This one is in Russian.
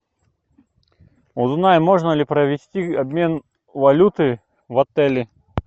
узнай можно ли провести обмен валюты в отеле